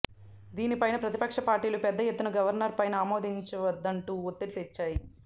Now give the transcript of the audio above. దీని పైన ప్రతిపక్ష పార్టీలు పెద్ద ఎత్తున గవర్నర్ పైన ఆమోదించవద్దంటూ ఒత్తిడి తెచ్చాయి